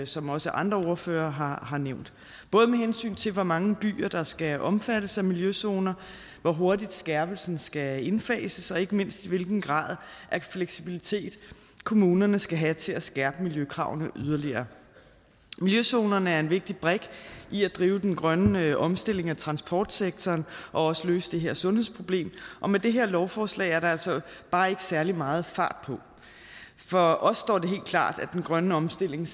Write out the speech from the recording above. som også andre ordførere har har nævnt både med hensyn til hvor mange byer der skal omfattes af miljøzoner hvor hurtigt skærpelsen skal indfases og ikke mindst hvilken grad af fleksibilitet kommunerne skal have til at skærpe miljøkravene yderligere miljøzonerne er en vigtig brik i at drive den grønne omstilling af transportsektoren og også løse det her sundhedsproblem og med det her lovforslag er der altså bare ikke særlig meget fart på for os står klart at den grønne omstilling